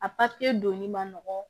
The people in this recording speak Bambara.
A donni ma nɔgɔn